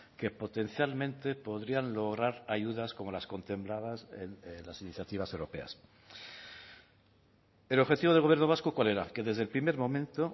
que potencialmente podrían lograr ayudas como las contempladas en las iniciativas europeas el objetivo del gobierno vasco cuál era que desde el primer momento